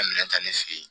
Minɛn ta ne fɛ yen